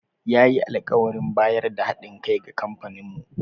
Ya yi alkawarin bayar da ha ɗin kai ga kamfaninmu.